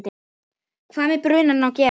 hvað með brunann að gera.